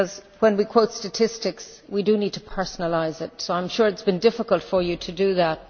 When we quote statistics we do need to personalise it, so I am sure it has been difficult for you to do that.